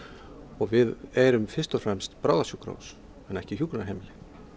og við erum fyrst og fremst bráðasjúkrahús en ekki hjúkrunarheimili